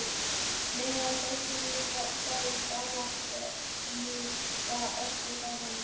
Meðal þess sem ég sagði í ávarpinu var eftirfarandi